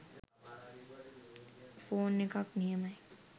Phone එකක් නියමයි.